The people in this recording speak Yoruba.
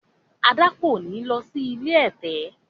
Ada kọ ní ló sì ilé ẹ̀tẹ̀.